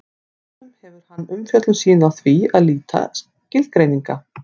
stundum hefur hann umfjöllun sína á því að leita skilgreininga